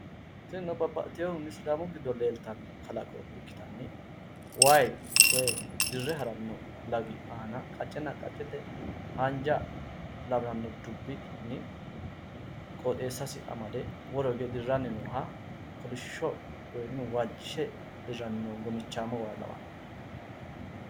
Tini babbaxxitino sidaamu giddo leeltanno kalaqo giddonni lkkitanni wayi dirre haranno lagi aana qacce qaccete haanja dubbo amade dirre haranni noo waa lawanno